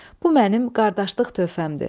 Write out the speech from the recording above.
Bu mənim qardaşlıq töhfəmdir.